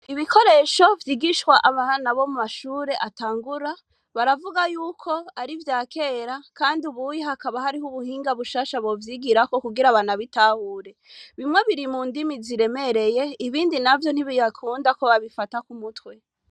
Ibikoresho vyigishwa abana bo mumashure atangura baravuga yuko ar'ivya kera kandi ubuye hakaba harih'ubuhinga bushasha bovyigirako kugira banabitahure. Bimwe biri mundimi ziremereye ibindi navyo ntibibakunda ko babifata k'umutwe.